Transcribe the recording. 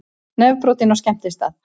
Nefbrotinn á skemmtistað